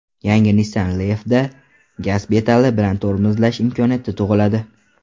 Yangi Nissan Leaf’da gaz pedali bilan tormozlash imkoniyati tug‘iladi.